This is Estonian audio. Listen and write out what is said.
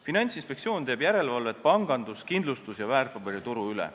Finantsinspektsioon teeb järelevalvet pangandus-, kindlustus- ja väärtpaberituru üle.